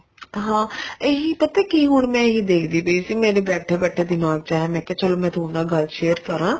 ਹਾਂ ਇਹੀ ਪਤਾ ਕੀ ਹੁਣ ਮੈਂ ਇਹੀ ਦੇਖਦੀ ਪਈ ਸੀ ਮੇਰੇ ਬੈਠੇ ਬੈਠੇ ਦਿਮਾਗ ਚ ਆਇਆ ਮੈਂ ਕਿਹਾ ਚੱਲ ਤੁਹਾਡੇ ਨਾਲ ਗੱਲ share ਕਰਾ